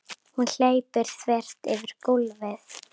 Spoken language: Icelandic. Hún hleypur þvert yfir gólfið.